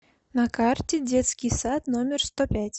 на карте детский сад номер сто пять